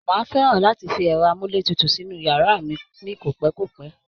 Máà fẹ́ràn láti fi ẹ̀rọ amúletutù sínú yàrá mí ní kopẹkopẹ